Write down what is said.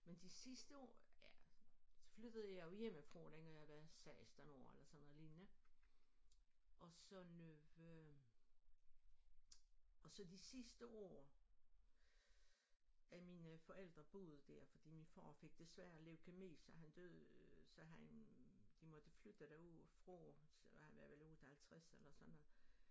Men de sidste år ja så flyttede jeg jo hjemmefra dengang jeg var 16 år eller sådan noget lignende og så og så de sidste år af mine forældre boede der fordi min far fik desværre leukæmi så han døde så han de måtte flytte derudefra han var vel 58 eller sådan noget